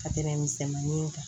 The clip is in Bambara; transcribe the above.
Ka tɛmɛ misɛnmanin kan